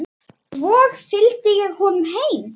Svo fylgdi ég honum heim.